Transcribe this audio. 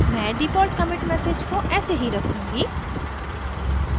मैं default commit message को ऐसे ही रखूँगी